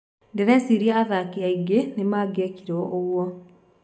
Ndĩreciria athaki aĩngĩ nĩmangĩekirwo ũguo